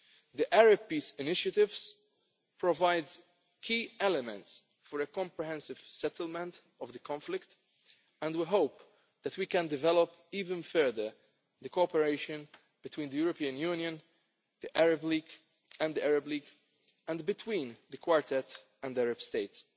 The Arab peace initiatives provide key elements for a comprehensive settlement of the conflict, and we hope that we can develop even further the cooperation between the European Union and the Arab League, and between the Quartet and the Arab